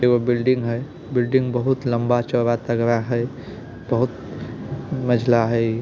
ये बिल्डिंग है इमारत ऊंची चौड़ी और मजबूत है बहुत मंजिला है।